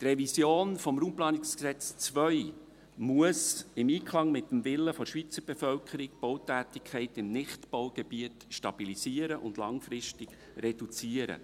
Die Revision des RPG 2 muss im Einklang mit dem Willen der Schweizer Bevölkerung stehen, die Bautätigkeit in Nichtbaugebieten zu stabilisieren und langfristig zu reduzieren.